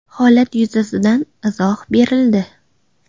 Holat yuzasidan izoh berildi.